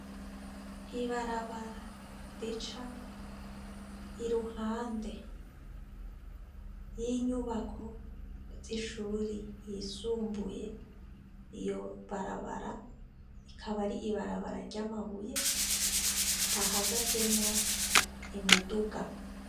Ibarabara rica iruhande y'inyubako z'ishuri yisumbuye iyo barabara ikaba ari ibarabara ry'amabuye hahagazemwo imiduga.